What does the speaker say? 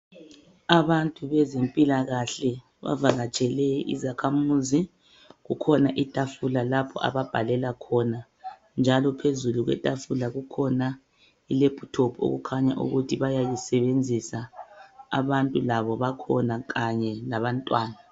Abantu bezemphilakahle bavakatshele izakamuzi, kukhona ithafula lapho ababhalela khona, njalo phezulu kwethafuala kule lephuthopu okukhanya ukuthi bayayisebenzisa. Abantu labobakhona kanye labantwana.